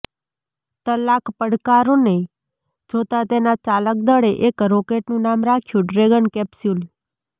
ટલાક પડકારોને જોતા તેના ચાલક દળે એક રોકેટનું નામ રાખ્યુ ડ્રેગન કેપ્સૂલ